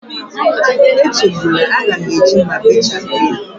Echegbula, a ga m eji mma bechapụ ya.